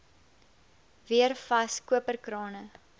weer vas koperkrane